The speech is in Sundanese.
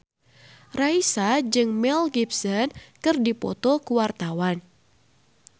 Raisa jeung Mel Gibson keur dipoto ku wartawan